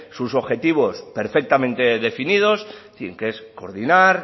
sus objetivos perfectamente definidos en fin que es coordinar